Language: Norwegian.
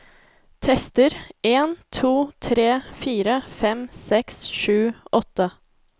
Tester en to tre fire fem seks sju åtte